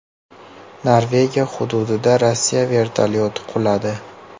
Norvegiya hududida Rossiya vertolyoti quladi.